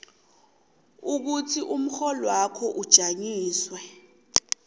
ukuthi umrholwakho ujanyiswe